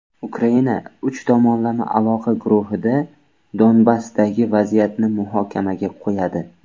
Ukraina uch tomonlama aloqa guruhida Donbassdagi vaziyatni muhokamaga qo‘yadi.